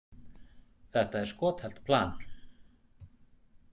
Þetta er skothelt plan.